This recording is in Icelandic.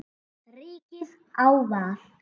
Ríkið á val.